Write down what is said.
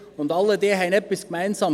Sie alle haben etwas gemeinsam: